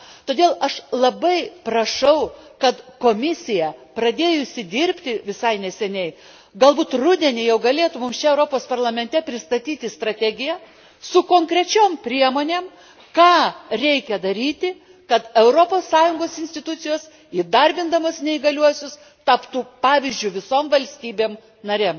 Todėl aš labai prašau, kad Komisija, pradėjusi dirbti visai neseniai, gal būt rudenį jau galėtų mums čia Europos Parlamente pristatyti strategiją su konkrečiom priemonėm, ką reikia daryti, kad Europos Sąjungos institucijos įdarbindamos neįgaliuosius, taptų pavyzdžiu visoms valstybėm narėm.